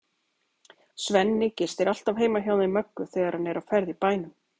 Svenni gistir alltaf heima hjá þeim Möggu þegar hann er á ferð í bænum.